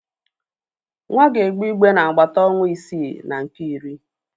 Nwa ga-egbe igbe n'agbata ọnwa isii na nke iri.